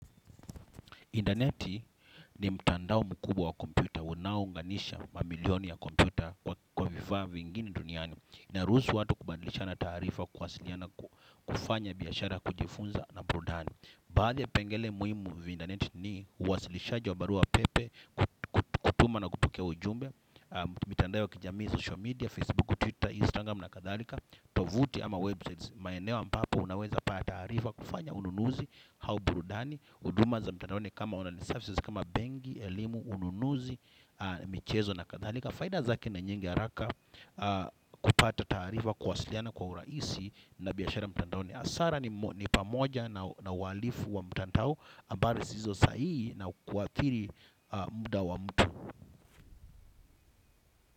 Intaneti ni mtandao mkubwa wa kompuyta. Unaounganisha mamilioni ya kompyuta kwa vifaa vingine duniani. Inaruhusu watu kubandilishana taarifa kuwasiliana kufanya biashara kujifunza na burudani. Baadhi vipengele muhimu vya intaneti ni uwasilishajia wa barua pepe, kutuma na kupokea ujumbe. Mitandao ya kijamii, social media, Facebook, Twitter, Instagram na kadharika. Tovuti ama websites. Maeneo ambapo unaweza pata taarifa kufanya ununuzi au burudani. Huduma za mtandaoni kama online services, kama benki, elimu, ununuzi, michezo na kadhalika. Faida zake na nyingi haraka kupata taarifa kuwasiliana kwa urahisi na biashara mtandaoni hasara ni pamoja na uhalifu wa mtandao habari zisizo saihi na kuathiri muda wa mtu.